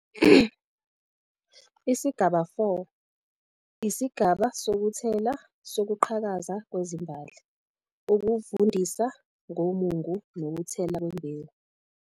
ISIGABA 4- ISIGABA SOKUTHELA - SOKUQHAKAZA KWEZIMBALI, UKUVUNDISA NGOMUNGU NOKUTHELA KWEMBEWU